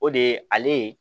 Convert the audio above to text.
O de ye ale ye